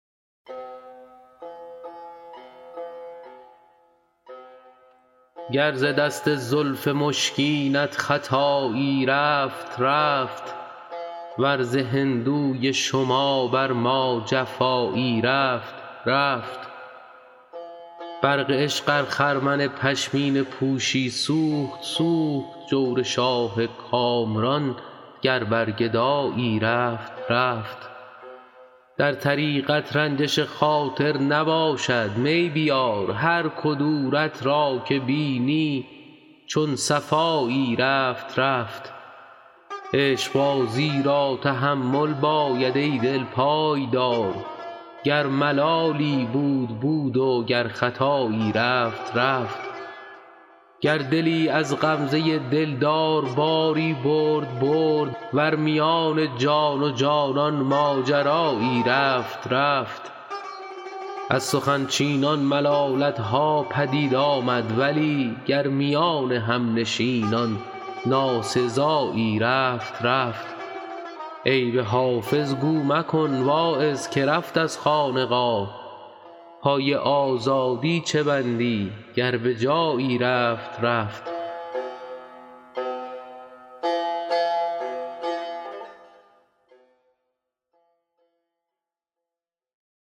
گر ز دست زلف مشکینت خطایی رفت رفت ور ز هندوی شما بر ما جفایی رفت رفت برق عشق ار خرمن پشمینه پوشی سوخت سوخت جور شاه کامران گر بر گدایی رفت رفت در طریقت رنجش خاطر نباشد می بیار هر کدورت را که بینی چون صفایی رفت رفت عشقبازی را تحمل باید ای دل پای دار گر ملالی بود بود و گر خطایی رفت رفت گر دلی از غمزه دلدار باری برد برد ور میان جان و جانان ماجرایی رفت رفت از سخن چینان ملالت ها پدید آمد ولی گر میان همنشینان ناسزایی رفت رفت عیب حافظ گو مکن واعظ که رفت از خانقاه پای آزادی چه بندی گر به جایی رفت رفت